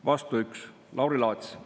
Vastu 1: Lauri Laats.